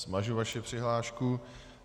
Smažu vaši přihlášku.